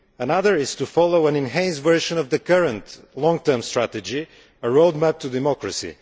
Another is to follow an enhanced version of the current long term strategy a roadmap to democracy.